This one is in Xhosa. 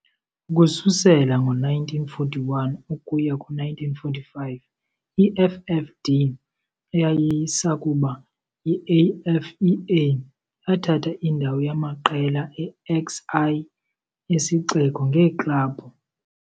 Ukususela ngo-1941 ukuya ku-1945 i-FFD, eyayisakuba yi-AFEA, yathatha indawo yamaqela e-XI yesixeko ngeeklabhu.